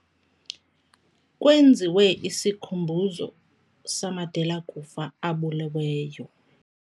Kwenziwe isikhumbuzo samadela-kufa abuleweyo.